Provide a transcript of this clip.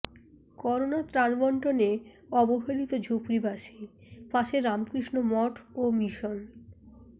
corona ত্রান বন্টনে অবহেলিত ঝুপরিবাসী পাশে রামকৃষ্ণ মঠ ও মিশন